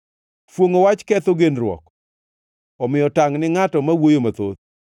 Fuongʼo wach ketho genruok; omiyo tangʼ ni ngʼato ma wuoyo mathoth.